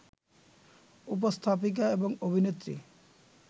উপস্থাপিকা এবং অভিনেত্রী